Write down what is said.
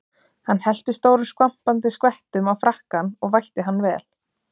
Hann hellti stórum skvampandi skvettum á frakkann og vætti hann vel.